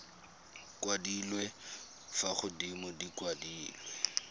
kwadilwe fa godimo di kwadilwe